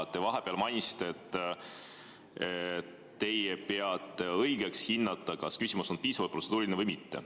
Te vahepeal mainisite, et teie peate õigeks hinnata, kas küsimus on piisavalt protseduuriline või mitte.